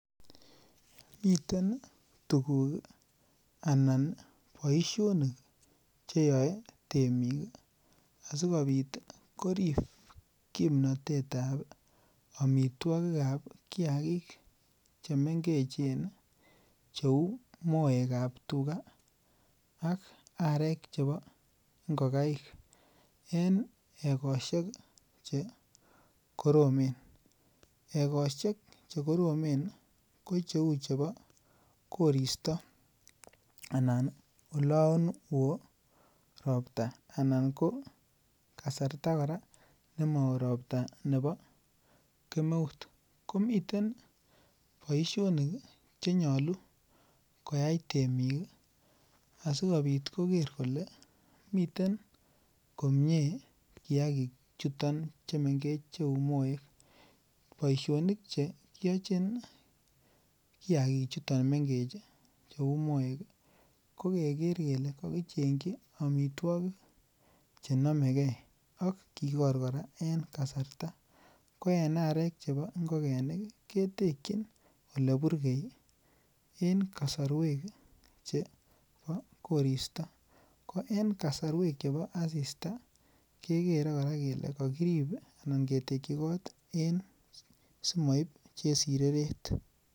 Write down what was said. Miten tuguk anan boisionik cheyao temik ih asikobit korib kimnatetab amituakikab kiagik chemengechen cheuu moekab tuga. Ak arek chebo ongokaik en egosiek che koromen. Egosiek che koromen ko cheuu chebo korista anan olaan ooh robta anan kasarta kora nemaet robta nebo kemeut komiten baisionik chenyolu, koyai temik ih asikobit koker kole miten komie kiagik chuton chemengech. Boisionik chekiachin kiagik chuton mengechen ih ko ko keger kele kakichengyi amituakik chenamegei akikor kora en kasarta ko en arek chebo ingogenik ketekyin oleburkei en kasarwek chebo korista en kasarwek chebo asista kekere kele kakitekyi simaib chesireret.